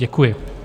Děkuji.